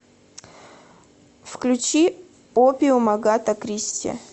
включи опиум агата кристи